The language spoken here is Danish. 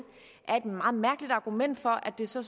er et meget mærkeligt argument for at det så